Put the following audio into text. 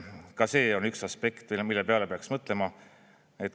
Ka see on üks aspekt, mille peale peaks mõtlema.